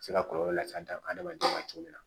Se ka kɔlɔlɔ lase adamaden ma cogo min na